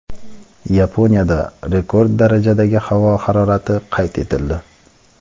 Yaponiyada rekord darajadagi havo harorati qayd etildi.